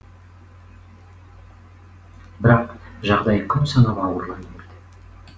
бірақ жағдай күн санап ауырлай берді